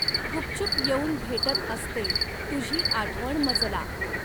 गुपचुप येउन भेटत असते, तुझी आठवण मजला